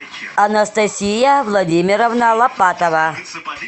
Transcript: анастасия владимировна лопатова